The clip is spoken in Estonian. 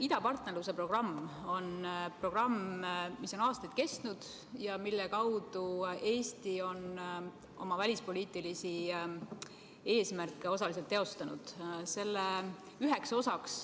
Idapartnerluse programm on aastaid kestnud ja selle kaudu on Eesti oma välispoliitilisi eesmärke osaliselt teostanud.